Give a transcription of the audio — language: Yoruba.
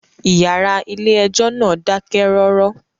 Ìyàrá ilé ẹjọ́ náà dákẹ́ rọ́rọ́.